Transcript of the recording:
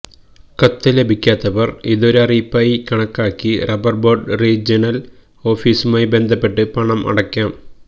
കത്ത് ലഭിക്കാത്തവര് ഇത് ഒരറിയിപ്പായി കണക്കാക്കി റബ്ബര്ബോര്ഡ് റീജിയണല് ഓഫീസുമായി ബന്ധപ്പെട്ട് പണം അടയ്ക്കാം